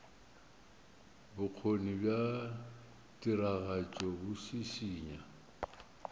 bokgoni bja tiragatšo bo šišinya